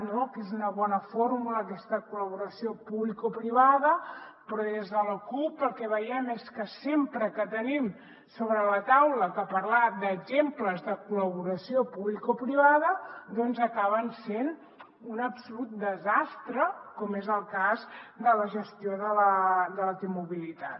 no que és una bona fórmula aquesta col·laboració publicoprivada però des de la cup el que veiem és que sempre que tenim sobre la taula exemples de col·laboració publicoprivada doncs acaben sent un absolut desastre com és el cas de la gestió de la t mobilitat